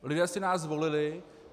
Lidé si nás zvolili.